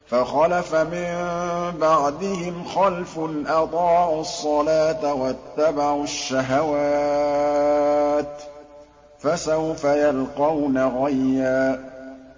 ۞ فَخَلَفَ مِن بَعْدِهِمْ خَلْفٌ أَضَاعُوا الصَّلَاةَ وَاتَّبَعُوا الشَّهَوَاتِ ۖ فَسَوْفَ يَلْقَوْنَ غَيًّا